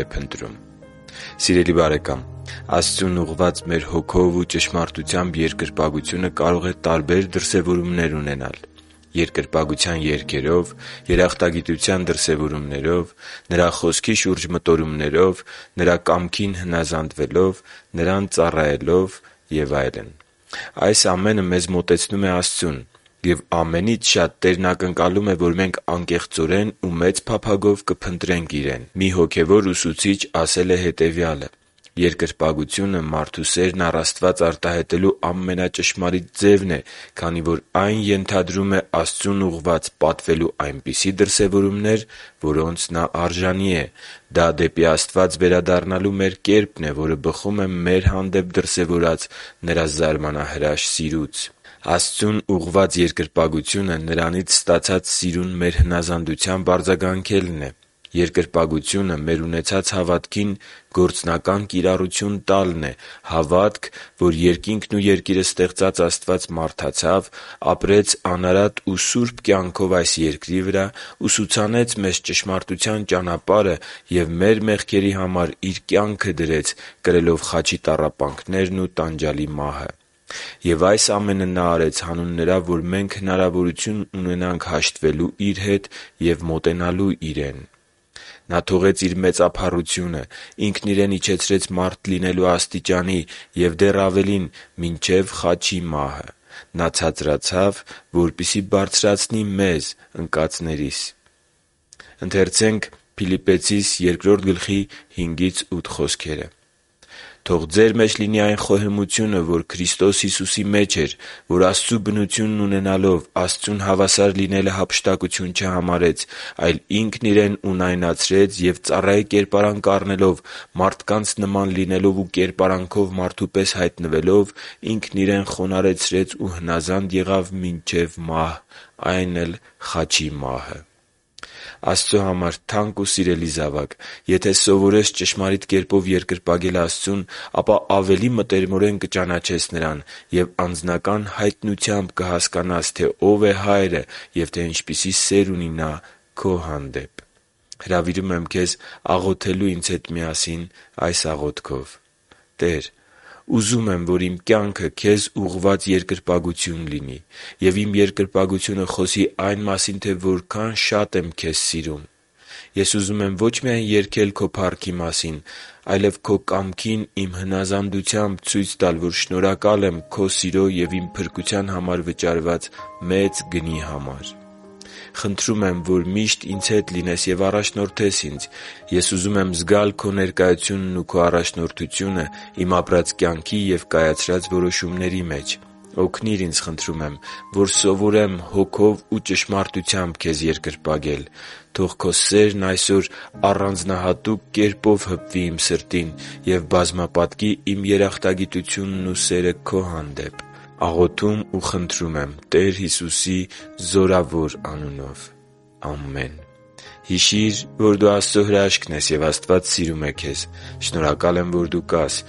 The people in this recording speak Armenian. է փնտրում Սիրելի՛ բարեկամ, Աստծուն ուղղված մեր հոգով ու ճշմարտությամբ երկրպագությունը կարող է տարբեր դրսևորումներ ունենալ․ - Երկրպագության երգերով, - Երախտագիտության դրսևորումներով, - Նրա Խոսքի շուրջ մտորումներով, - Նրա կամքին հնազանդվելով, - Նրան ծառայելով, - Եվ այլն։ Այս ամենը մեզ մոտեցնում է Աստծուն։ Եվ ամենից շատ Տերն ակնկալում է, որ մենք անկեղծորեն ու մեծ փափագով կփնտրենք Իրեն։ Մի հոգևոր ուսուցիչ ասել է հետևյալը․ «Երկրպագությունը մարդու սերն առ Աստված արտահայտելու ամենաճշմարիտ ձևն է, քանի որ այն ենթադրում է Աստծուն ուղղված պատվելու այնպիսի դրսևորումներ, որոնց Նա արժանի է։ Դա դեպի Աստված վերադառնալու մեր կերպն է, որը բխում է մեր հանդեպ դրսևորած Նրա զարմանահրաշ սիրուց»։ Աստծուն ուղղված երկրպագությունը Նրանից ստացած սիրուն մեր հնազանդությամբ արձագանքելն է։ Երկրպագությունը մեր ունեցած հավատքին գործնական կիրառություն տալն է՝ հավատք, որ երկինքն ու երկիրը ստեղծած Աստված մարդացավ, ապրեց անարատ ու սուրբ կյանքով այս երկրի վրա, ուսուցանեց մեզ ճշմարտության ճանապարհը և մեր մեղքերի համար Իր կյանքը դրեց՝ կրելով խաչի տառապանքներն ու տանջալի մահը։ Եվ այս ամենը Նա արեց հանուն նրա, որ մենք հնարավորություն ունենանք հաշտվելու Իր հետ և մոտենալու Իրեն։ Նա թողեց Իր մեծափառությունը, Ինքն Իրեն իջեցրեց մարդ լինելու աստիճանի և դեռ ավելին՝ մինչև խաչի մահը։ Նա ցածրացավ, որպեսզի բարձրացնի մեզ՝ ընկածներիս։ «Թող ձեր մեջ լինի այն խոհեմությունը, որ Քրիստոս Հիսուսի մեջ էր, որ Աստծու բնությունն ունենալով՝ Աստծուն հավասար լինելը հափշտակություն չհամարեց, այլ Ինքն Իրեն ունայնացրեց և ծառայի կերպարանք առնելով, մարդկանց նման լինելով ու կերպարանքով մարդու պես հայտնվելով՝ Ինքն Իրեն խոնարհեցրեց ու հնազանդ եղավ մինչև մահ, այն էլ՝ խաչի մահը» (Փիլիպպեցիս 2․5-8)։ Աստծո համար թանկ ու սիրելի՛ զավակ, եթե սովորես ճշմարիտ կերպով երկրպագել Աստծուն, ապա ավելի մտերմորեն կճանաչես Նրան և անձնական հայտնությամբ կհասկանաս, թե Ո՞վ է Հայրը և թե ինչպիսի սեր ունի Նա քո հանդեպ: Հրավիրում եմ քեզ աղոթելու ինձ հետ միասին այս աղոթքով. «Տե՛ր, ուզում եմ, որ իմ կյանքը Քեզ ուղղված երկրպագություն լինի, և իմ երկրպագությունը խոսի այն մասին, թե որքա՜ն շատ եմ Քեզ սիրում։ Ես ուզում եմ ոչ միայն երգել քո փառքի մասին, այլև Քո կամքին իմ հնազանդությամբ ցույց տալ, որ շնորհակալ եմ Քո սիրո և իմ փրկության համար վճարված մեծ գնի համար։ Խնդրում եմ, որ միշտ ինձ հետ լինես և առաջնորդես ինձ։ Ես ուզում եմ զգալ Քո ներկայությունն ու քո առաջնորդությունը իմ ապրած կյանքի և կայացրած որոշումների մեջ։ Օգնի՛ր ինձ, խնդրում եմ, որ սովորեմ հոգով ու ճշմարտությամբ Քեզ երկրպագել։ Թո՛ղ Քո սերն այսօր առանձնահատուկ կերպով հպվի իմ սրտին և բազմապատկի իմ երախտագիտությունն ու սերը Քո հանդեպ։ Աղոթում ու խնդրում եմ Տեր Հիսուսի սքանչելի անունով։ Ամեն»։ Հիշի՛ր, որ դու Աստծո հրաշքն ես, և Աստված սիրում է քեզ։ Շնորհակալ եմ, որ դու կա՛ս